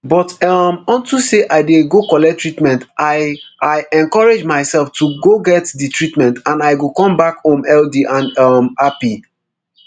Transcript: "but um unto say i dey go collect treatment i i encourage myself to go get di treatment and i go come back home healthy and um happy."